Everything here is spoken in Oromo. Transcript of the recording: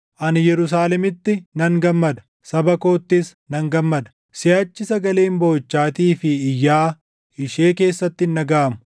Ani Yerusaalemitti nan gammada; saba koottis nan gammada; siʼachi sagaleen booʼichaatii fi iyyaa ishee keessatti hin dhagaʼamu.